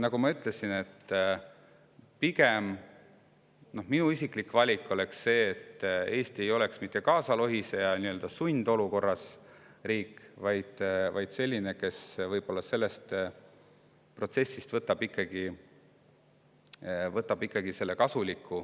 Nagu ma ütlesin, oleks minu isiklik valik pigem see, et Eesti ei oleks mitte kaasalohiseja, sundolukorda pandud riik, vaid selline, kes võtaks sellest protsessist kaasa ikkagi selle kasuliku.